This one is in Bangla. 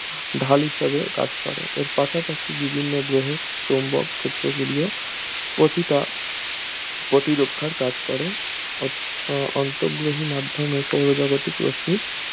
ঢাল হিসেবে কাজ করে এর পাশাপাশি বিভিন্ন গ্রহের চৌম্বক ক্ষেত্রগুলোও প্রতিটা প্রতিরক্ষার কাজ করে অ~ আন্তঃগ্রহীয় মাধ্যমে সৌরজাগতিক রশ্মির